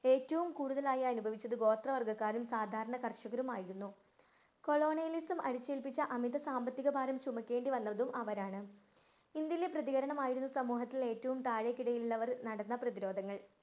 ഏറ്റവും കൂടുതലായി അനുഭവിച്ചിരുന്നത് ഗോത്രവര്‍ഗ്ഗക്കാരും, സാധാരണ കര്‍ഷകരും ആയിരുന്നു. Colonialism അടിച്ചേല്‍പ്പിച്ച അമിത സാമ്പത്തികഭാരം ചുമക്കേണ്ടി വന്നതും അവരാണ്. ഇന്‍ഡ്യയിലെ പ്രതീകരണമായിരുന്നു സമൂഹത്തിലെ ഏറ്റവും താഴെക്കിടയില്‍ ഉള്ളവർ നടന്നു വന്ന പ്രതിരോധങ്ങള്‍.